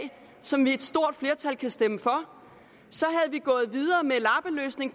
som et stort flertal kan stemme for så